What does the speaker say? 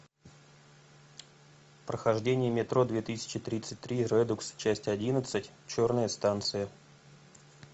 прохождение метро две тысячи тридцать три редукс часть одиннадцать черная станция